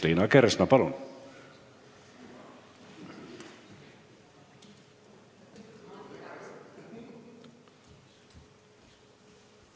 Liina Kersna, palun!